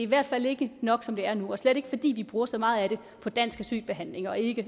hvert fald ikke nok som det er nu og slet ikke fordi vi bruger så meget af det på dansk asylbehandling og ikke